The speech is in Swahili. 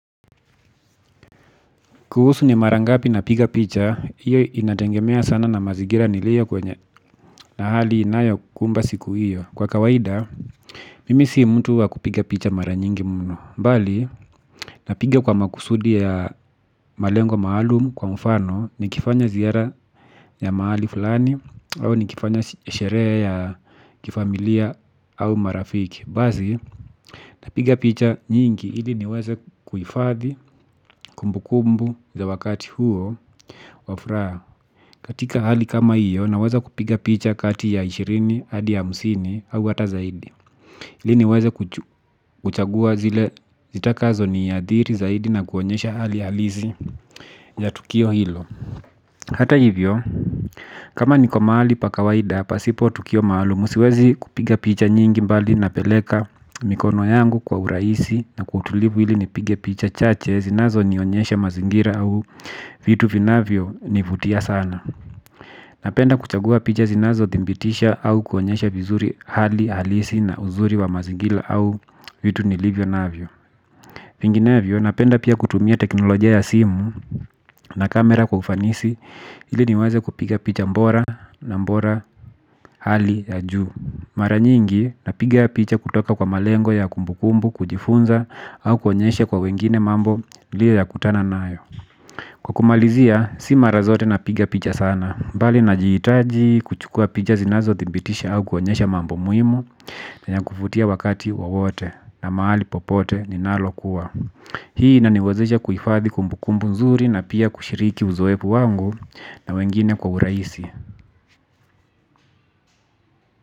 Kuhusu ni mara ngapi napiga picha, hiyo inategemea sana na mazigira niliyo kwenye, na hali inayokumba siku hiyo. Kwa kawaida, mimi si mtu wa kupiga picha mara nyingi mno. Mbali, napiga kwa makusudi ya malengo maalumu kwa mfano, nikifanya ziara ya mahali fulani au nikifanya sherehe ya kifamilia au marafiki. Basi napiga picha nyingi ili niweze kuhifadhi kumbu kumbu za wakati huo wa furaha. Katika hali kama hiyo naweza kupiga picha kati ya ishirini hadi hamsini au hata zaidi. Ili niweze kuchagua zile zitakazo niathiri zaidi na kuonyesha hali halisi ya tukio hilo. Hata hivyo kama niko mahali pa kawaida pasipo tukio maalumu. Siwezi kupiga picha nyingi mbali napeleka mikono yangu kwa urahisi na kwa utulivu ili nipige picha chache zinazo nionyesha mazingira au vitu vinavyo nivutia sana. Napenda kuchagua picha zinazo thibitisha au kuonyesha vizuri hali halisi na uzuri wa mazingira au vitu nilivyo navyo. Vinginevyo, napenda pia kutumia teknolojia ya simu na kamera kwa ufanisi ili niweze kupiga picha bora na bora hali ya juu. Mara nyingi napiga picha kutoka kwa malengo ya kumbu kumbu, kujifunza au kuonyesha kwa wengine mambo niliyo yakutana nayo. Kwa kumalizia, si mara zote napiga picha sana. Bali na jihitaji kuchukua picha zinazo thibitisha au kuonyesha mambo muhimu na ya kuvutia wakati wawote na mahali popote ninapo kuwa. Hii inaniwezesha kuhifadhi kumbu kumbu nzuri na pia kushiriki uzoefu wangu na wengine kwa urahisi.